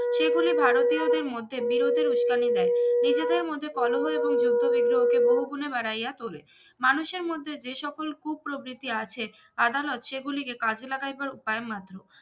সেগুলি ভারতীয়দের মধ্যে বিরোধের উস্কানি দেয় নিজেদের মধ্যে কলহল এবং যুদ্ধ বিগ্রহ কে বহু গুনে বাড়াইয়া তোলে মানুষের মধ্যে যে সকল কুপ্রবৃত্তি আছে আদালত সেগুলিকে কাজে লাগাইবার উপায় মাধ্যম